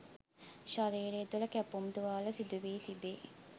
ශරීරය තුළ කැපුම් තුවාල සිදුවී තිබේ